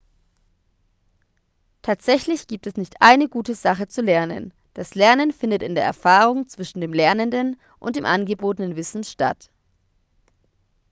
tatsächlich gibt es nicht eine gute sache zu lernen das lernen findet in der erfahrung zwischen dem lernenden und dem angebotenen wissen statt